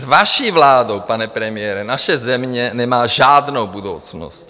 S vaší vládou, pane premiére, naše země nemá žádnou budoucnost.